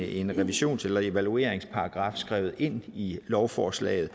en revisions eller evalueringsparagraf skrevet ind i lovforslaget